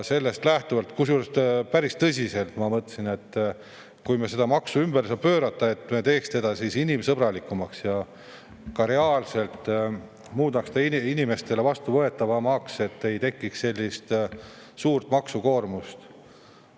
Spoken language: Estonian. Kusjuures ma päris tõsiselt mõtlesin, et kui me seda maksu ümber ei saa pöörata, siis me teeks selle inimsõbralikumaks ja reaalselt muudaks selle inimestele vastuvõetavamaks, et ei tekiks suurt maksukoormust.